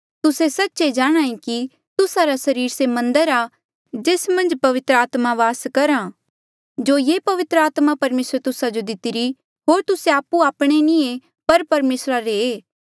तुस्से सच्चे जाणांहे कि तुस्सा रा सरीर से मन्दर आ जेस मन्झ पवित्र आत्मा वास करहा जो ये पवित्र आत्मा परमेसरे तुस्सा जो दितिरी होर तुस्से आपु आपणे नी ऐें पर परमेसरा रे